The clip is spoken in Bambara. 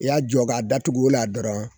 I y'a jɔ k'a datugu o la dɔrɔn